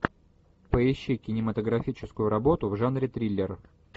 поищи кинематографическую работу в жанре триллер